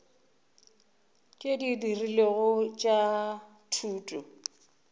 tšeo di rilego tša thuto